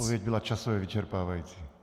Odpověď byla časově vyčerpávající.